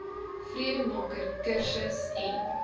vredemaker kursus n